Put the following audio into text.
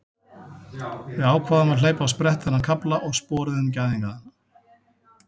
Við ákváðum að hleypa á sprett þennan kafla og sporuðum gæðingana.